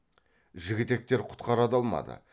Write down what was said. жігітектер құтқара да алмады